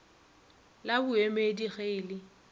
la boemedi ge e le